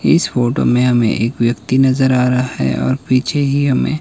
इस फोटो में हमें एक व्यक्ति नजर आ रहा है और पीछे ही हमें--